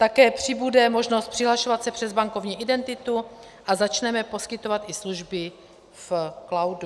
Také přibude možnost přihlašovat se přes bankovní identitu a začneme poskytovat i služby v cloudu.